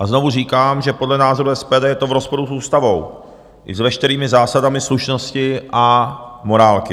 A znovu říkám, že podle názoru SPD je to v rozporu s ústavou i s veškerými zásadami slušnosti a morálky.